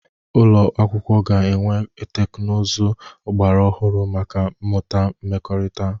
Ụlọ akwụkwọ ga-enwe teknụzụ ọgbara ọhụrụ maka mmụta mmekọrịta.